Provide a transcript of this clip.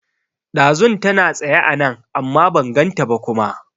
Ɗazun tana tsaye anan amma ban ganta ba kuma